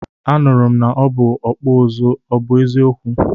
Anụrụ m na ọ bụ ọkpụ ụzụ, ọ bụ eziokwu?